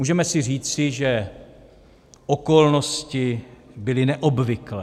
Můžeme si říci, že okolnosti byly neobvyklé.